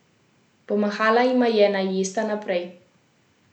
Pomahala jima je, naj jesta naprej.